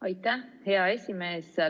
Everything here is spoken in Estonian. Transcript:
Aitäh, hea esimees!